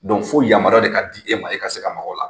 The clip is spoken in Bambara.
fo yamaruya de ka di e ma, e ka se ka maka o la.